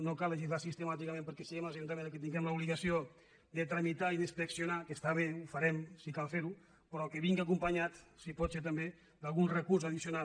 no cal legislar sistemàticament perquè siguem els ajuntaments els que tinguem l’obligació de tramitar i d’inspeccionar que està bé ho farem si cal fer ho però que vingui acompanyat si pot ser també d’algun recurs addicional